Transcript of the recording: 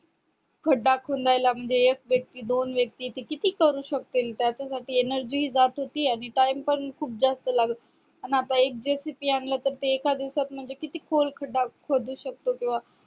खडा खुणदायला म्हणजे एक व्यक्ती दोन व्यक्ती ते किती करू शक्तीनं त्याच्या साठी energy जात होती आणि time पण खूप जास्त लाग आण एक JCP आणल तर ते एका दिवसात म्हणज किती खोल खडा खोदु शकता किंवा